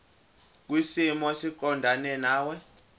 kwisimo esiqondena nawe